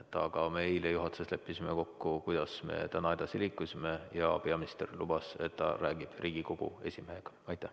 Aga me eile juhatuses leppisime kokku, kuidas me täna edasi liigume, ja peaminister lubas, et ta räägib Riigikogu esimehega.